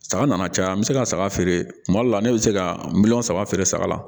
Saga nana caya an bɛ se ka saga feere kuma dɔ la ne bɛ se ka miliyɔn saba feere saga la